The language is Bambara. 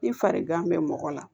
Ni farigan bɛ mɔgɔ la